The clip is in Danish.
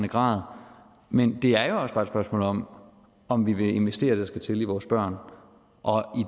grad men det er jo også bare et spørgsmål om om vi vil investere det der skal til i vores børn og